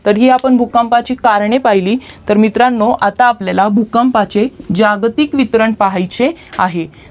कधी आपण भूकंपाची कारणे पाहिली तर मित्रांनो आता आपल्याला भूकंपाचे जागतिक वितरण पहायचे आहे